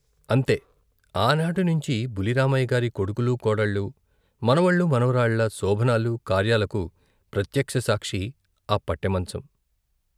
అంతే, ఆనాటినుంచి బుల్లి రామయ్య గారి కొడుకులూ, కోడళ్ళు , మనవలు, మనవరాళ్ళ శోభనాలు కార్యాలకు ప్రత్యక్ష సాక్షి ఆ పట్టె మంచం.